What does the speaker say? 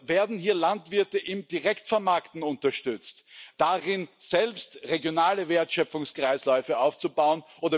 Oder werden hier Landwirte im Direktvermarkten sowie darin unterstützt, selbst regionale Wertschöpfungskreisläufe aufzubauen?